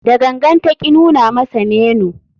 Da gangan ta ki nuna masa menu.